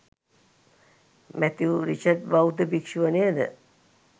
Matthew Richard බෞද්ධ භික්‍ෂුව නේද?